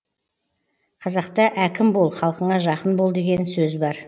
қазақта әкім бол халқыңа жақын бол деген сөз бар